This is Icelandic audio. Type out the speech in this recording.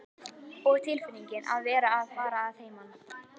Og tilfinningin að vera að fara að heiman.